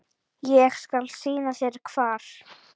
Ég skal sýna þér hvar.